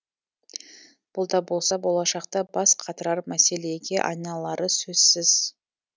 бұл да болса болашақта бас қатырар мәселеге айналары сөзсіз